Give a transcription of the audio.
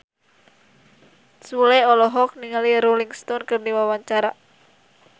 Sule olohok ningali Rolling Stone keur diwawancara